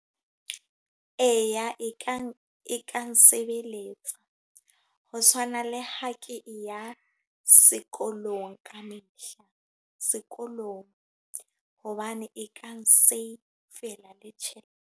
Eya e kang, e kang sebeletsa. Ho tshwana le ha ke ya sekolong ka mehla. Sekolong. Hobane e kang save-la le tjhelete.